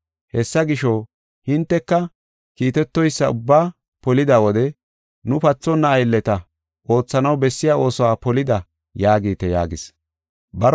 Hessa gisho, hinteka kiitetoysa ubbaa polida wode, ‘Nu pathonna aylleta; oothanaw bessiya oosuwa polida’ yaagite” yaagis.